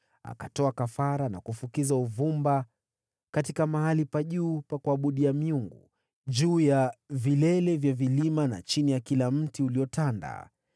Akatoa kafara na kufukiza uvumba katika mahali pa juu pa kuabudia miungu, juu ya vilima, na chini ya kila mti uliotanda.